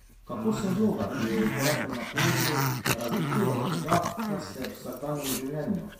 Kako se vloga, ki jo igrate na odru, razlikuje od tega, kar ste v vsakdanjem življenju?